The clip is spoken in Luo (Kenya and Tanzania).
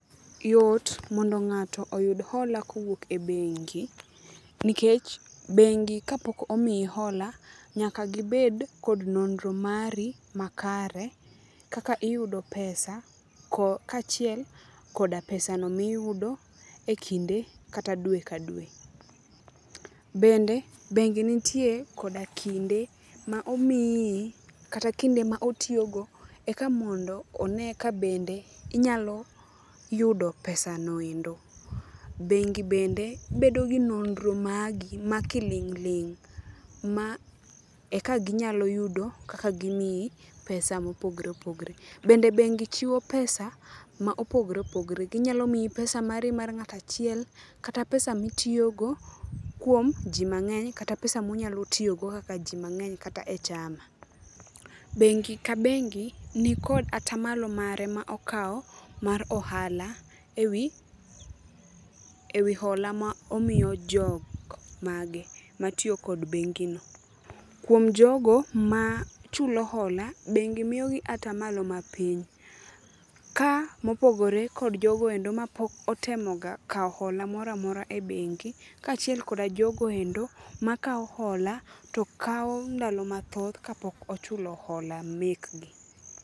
Yot mondo ng'ato oyud hola kowuok e bengi, nikech bengi kapok omi hola ,nyaka gibed kod nonro mari makare. Kaka iyudo pesa, kaachiel koda pesano miyudo e kinde kata dwe ka dwe. Bende bengi nitie koda kinde ma omiyi kata kinde ma otiyogo eka mondo one kabende inyalo yudo pesano endo. Bengi bende bedo gi nonro magi ma kiling' ling' ma eka ginyalo yudo kaka gimiyi pesa mopogre opogre. Bende bengi chiwo pesa ma opogre opogre, ginyalo miyi pesa mari mar ng'ato achiel kata pesa mitiyogo kuom ji mang'eny kata pesa munyalo tiyogo kaka ji mang'eny kata e chama. Bengi ka bengi nikod atamalo mare ma okawo mar ohala e wi hola ma omiyo jok mage matiyo kod bengino. Kuom jogo machulo hola ,bengi miyogi atamalo mapiny, ka ,mopogore kjod jogo endo mapok otemoga kawo hola mora mora e bengi kaachiel kod ajogo endo makawo hola to kawo ndalo mathoth kapok ochulo hola mekgi.